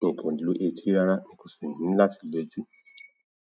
Èmi kò lu etí rárá. Èmi kò sì ní láti lu etí.